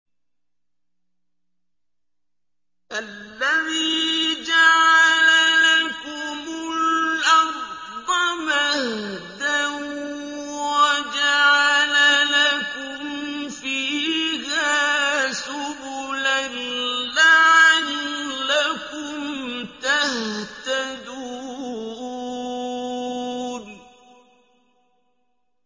الَّذِي جَعَلَ لَكُمُ الْأَرْضَ مَهْدًا وَجَعَلَ لَكُمْ فِيهَا سُبُلًا لَّعَلَّكُمْ تَهْتَدُونَ